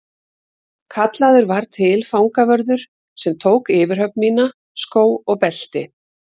Kallaður var til fangavörður sem tók yfirhöfn mína, skó og belti.